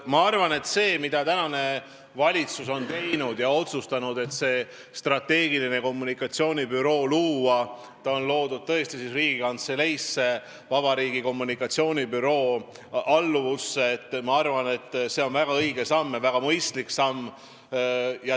Ma arvan, et see, mida tänane valitsus on otsustanud ja teinud, et on loodud strateegilise kommunikatsiooni büroo Riigikantseleis valitsuse kommunikatsioonibüroo alluvusse, on väga õige ja väga mõistlik samm.